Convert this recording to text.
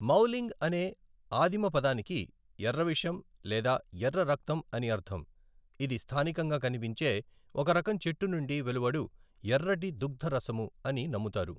మౌలింగ్ అనే ఆదిమ పదానికి ఎర్ర విషం లేదా ఎర్ర రక్తం అని అర్ధం, ఇది స్థానికంగా కనిపించే ఒక రకం చెట్టు నుండి వెలువడు ఎర్రటి దుగ్ధ రసము అని నమ్ముతారు.